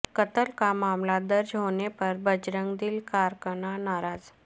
قتل کا معاملہ درج ہونے پر بجرنگ دل کارکنان ناراض